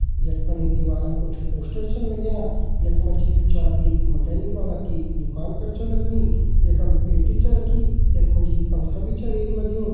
यख फणे एक दीवाल म कुछ पोस्टर्स छन लग्यां यखमा जी जु छा एक मैकेनिक ह्वाला कि दुकान कर छन लगणी यखम पेटी छा रखी यखमा जी एक पंखा छो एक लग्युं।